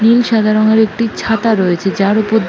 নীল সাদা রং এর একটি ছাতা রয়েছে যার উপর--